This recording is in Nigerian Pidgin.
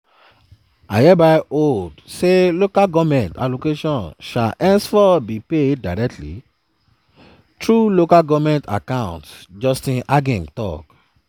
"i hereby hold say local goment allocations shall henceforth be paid directly through local goment accounts" justice agim tok.